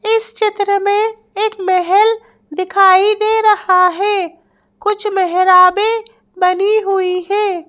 इस चित्र में एक महल दिखाई दे रहा है कुछ मेहराबे बनी हुई हैं।